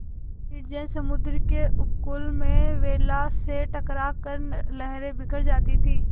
निर्जन समुद्र के उपकूल में वेला से टकरा कर लहरें बिखर जाती थीं